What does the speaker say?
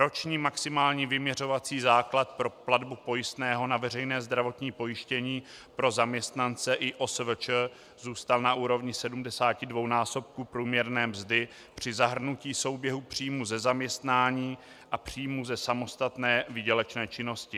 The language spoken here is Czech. Roční maximální vyměřovací základ pro platbu pojistného na veřejné zdravotní pojištění pro zaměstnance i OSVČ zůstal na úrovni 72násobku průměrné mzdy při zahrnutí souběhu příjmů ze zaměstnání a příjmů ze samostatné výdělečné činnosti.